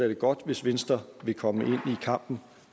er godt hvis venstre vil komme ind i kampen